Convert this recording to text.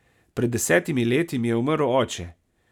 Pred desetimi leti mi je umrl oče.